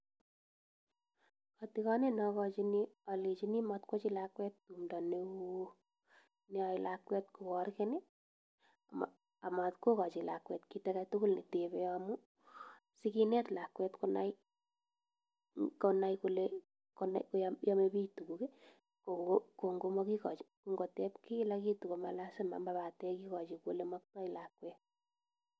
Atikanet nakachini alenjini matwachu lakwet tumdo neon neyae lakwet kogargen amatkogai lakwet kit agetugul netebe amun sikinet lakwet konai Kole yame bik tuguk amikigain koteb kila kitu akomalazima